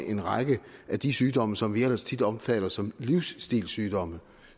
en række af de sygdomme som vi ellers tit opfatter som livsstilssygdomme